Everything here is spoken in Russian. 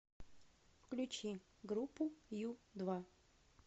включи группу ю два